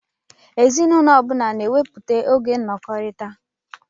Ezinụlọ ọbula n'ewepụta oge nọkọritá